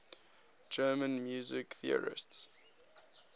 german music theorists